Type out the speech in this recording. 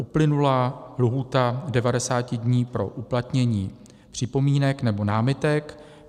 Uplynula lhůta 90 dní pro uplatnění připomínek nebo námitek.